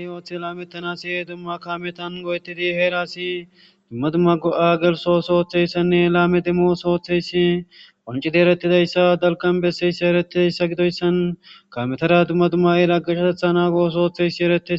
Dumma dumma oothota kaame bolla oothizaysa